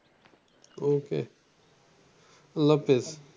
ওকে আল্লাহাফেজ।